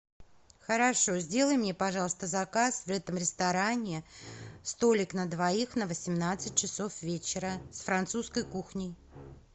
хорошо сделай мне пожалуйста заказ в этом ресторане столик на двоих на восемнадцать часов вечера с французской кухней